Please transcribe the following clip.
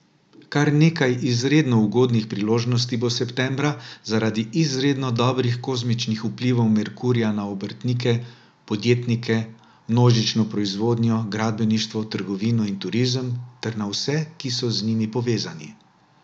Kar nekaj izredno ugodnih priložnosti bo septembra, zaradi izredno dobrih kozmičnih vplivov Merkurja na obrtnike, podjetnike, množično proizvodnjo, gradbeništvo, trgovino in turizem ter na vse, ki so z njimi povezani.